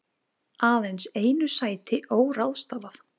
Aðeins einu sæti óráðstafað